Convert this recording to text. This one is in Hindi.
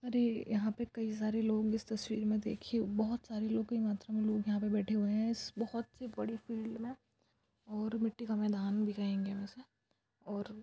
और ऐ यहाँ पे कई सारे लोग इस तस्वीर में देखिये बोहत सारे लोग कई मात्रा में लोग यहाँ पे बैठे हुए है इसस्स बोहत ही बड़ी फील्ड मे और मिटटी का मैदान भी कहेंगे और--